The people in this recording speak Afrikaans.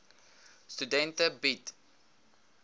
studente bied